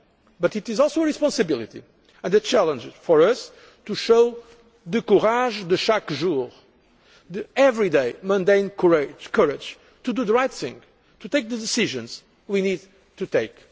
us so much. But it is also a responsibility and a challenge for us to show the courage de chaque jour' the everyday, mundane, courage to do the right thing and take the decisions we need